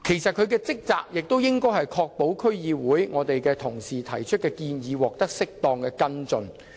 他們的職責應是確保區議會同事提出的建議獲得適當跟進。